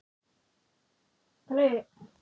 Hermína, er bolti á miðvikudaginn?